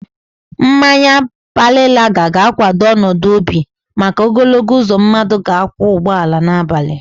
Mmanya pale laga ga-kwado ọnọdụ obi maka ogologo uzo mmadụ ga-akwọ ụgbọala n'abalị.